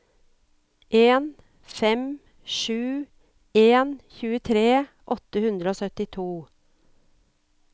en fem sju en tjuetre åtte hundre og syttito